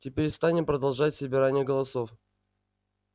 теперь станем продолжать собирание голосов